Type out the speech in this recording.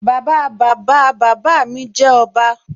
Bàbáa Bàbáa bàbá mi jẹ́ ọba